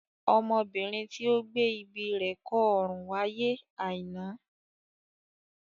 Ọmọbìnrin tí ó gbé ibi kọ́ ọrùn wáyé Aina.